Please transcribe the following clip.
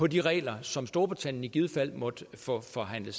de regler som storbritannien i givet fald måtte få forhandlet